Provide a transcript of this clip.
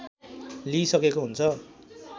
लिइ सकेको हुन्छ